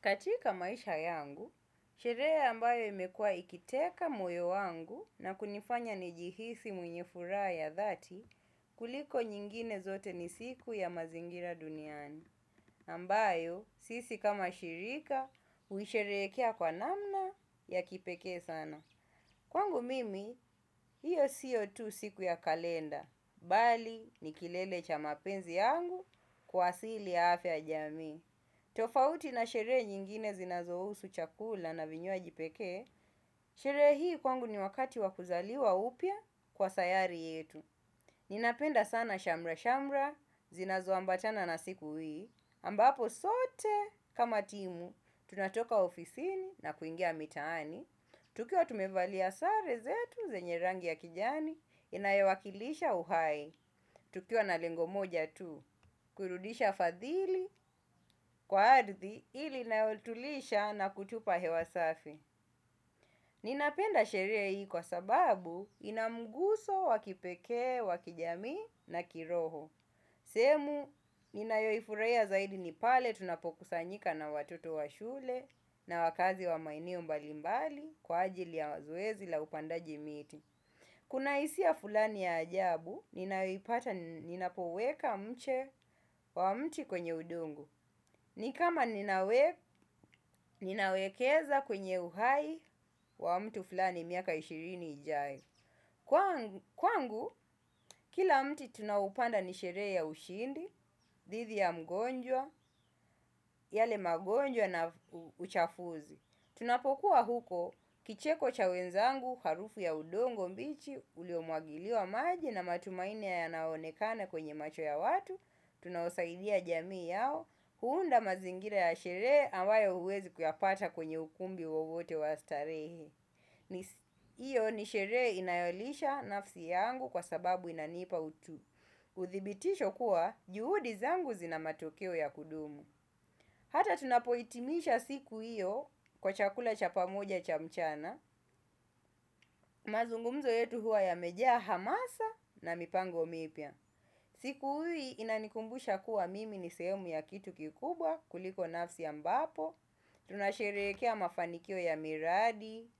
Katika maisha yangu, sherehe ambayo imekuwa ikiteka moyo wangu na kunifanya nijihisi mwenye furaha ya dhati kuliko nyingine zote ni siku ya mazingira duniani. Ambayo, sisi kama shirika, huisherehekea kwa namna ya kipekee sana. Kwangu mimi, hiyo siyo tu siku ya kalenda, bali ni kilele cha mapenzi yangu kwa asili ya afya ya jamii. Tofauti na sherehe nyingine zinazohusu chakula na vinywaji pekee sherehe hii kwangu ni wakati wa kuzaliwa upya kwa sayari yetu. Ninapenda sana shamra-shamra zinazo ambatana na siku hii ambapo sote kama timu tunatoka ofisini na kuingia mitaani. Tukiwa tumevalia sare zetu zenye rangi ya kijani inayowakilisha uhai. Tukiuwa na lengo moja tu, kurudisha fadhili kwa ardhi hili inayotulisha na kutupa hewa safi. Ninapenda sherehe hii kwa sababu inamguso wa kipekee wa kijamii na kiroho. Sehemu ninayoifurahia zaidi ni pale tunapokusanyika na watoto wa shule na wakaazi wa maeneo mbalimbali kwa ajili ya zoezi la upandaji miti. Kuna hisia fulani ya ajabu, ninayoipata ninapoweka mche wa mti kwenye udongo. Ni kama ninawekeza kwenye uhai wa mtu fulani miaka ishirini ijaye. Kwangu, kila mti tunaoupanda ni sherehe ya ushindi, dhidi ya mgonjwa, yale magonjwa na uchafuzi. Tunapokuwa huko, kicheko cha wenzangu, harufu ya udongo bichi uliomwangiliwa maji na matumaini yanayoonekana kwenye macho ya watu tunaosaidia jamii yao uunda mazingira ya sherehe ambayo huwezi kuyapata kwenye ukumbi wowote wa statehe hiyo ni sherehe inayolisha nafsi yangu kwa sababu inanipa utu. Uthibitisho kuwa, juhudi zangu zina matokeo ya kudumu. Hata tunapohitimisha siku hiyo kwa chakula cha pamoja cha mchana, mazungumzo yetu huwa yamejaa hamasa na mipango mipya. Siku hii inanikumbusha kuwa mimi ni sehemu ya kitu kikubwa kuliko nafsi ambapo, tunasherehekea mafanikio ya miradi,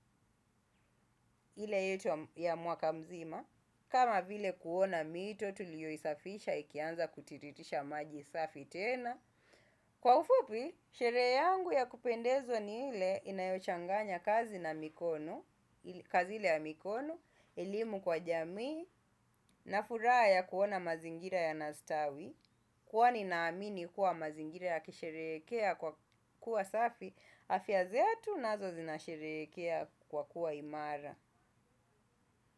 ile yetu ya mwaka mzima, kama vile kuona mito tuliyoisafisha ikianza kutiriritisha maji isafi tena. Kwa ufupi, sherehe yangu ya kupendeza ni ile inayochanganya kazi ile ya mikono, elimu kwa jamii na furaha ya kuona mazingira yanastawi huwa ninaamini kuwa mazingira yakisherehekea kwa kuwa safi, afya zetu nazo zinasherehekea kwa kuwa imara.